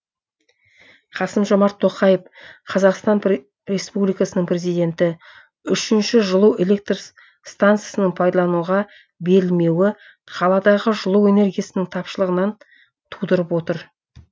қасым жомарт тоқаев қазақстан республикасының президенті үшінші жылу электр стансасының пайдалануға берілмеуі қаладағы жылу энергиясының тапшылығынан тудырып отыр